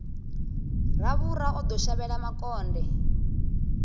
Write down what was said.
ravhura o ḓo shavhela makonde